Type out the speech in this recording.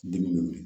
Dimi